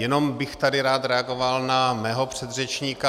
Jenom bych tady rád reagoval na svého předřečníka.